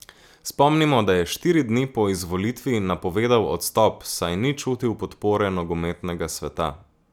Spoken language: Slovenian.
Spomnimo, da je štiri dni po izvolitvi napovedal odstop, saj ni čutil podpore nogometnega sveta.